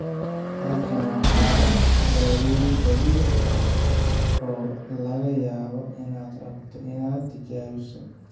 Halkan waxaa ah daweyn dabiici ah oo laga yaabo inaad rabto inaad tijaabiso.